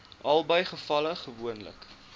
albei gevalle gewoonlik